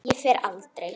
Ég fer aldrei.